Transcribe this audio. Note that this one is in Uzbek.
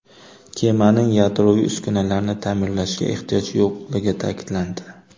Kemaning yadroviy uskunalarini ta’mirlashga ehtiyoj yo‘qligi ta’kidlandi.